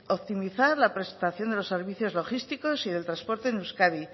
optimizar la prestación de los servicios logísticos y del transporte en euskadi